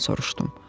Mən soruşdum.